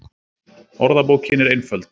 Orðabókin er einföld